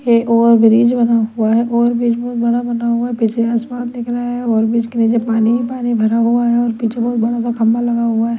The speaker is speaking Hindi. ये ओभर ब्रिज बना हुआ ओभर ब्रिज बहोत बड़ा बना हुआ है पीछे आसमान दिख रहा है ओभर ब्रिज के नीचे पानी ही पानी भरा हुआ है और पीछे बहोत बड़ा सा खम्भा लगा हुआ--